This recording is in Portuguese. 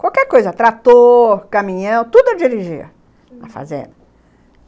Qualquer coisa, trator, caminhão, tudo eu dirigia na fazenda.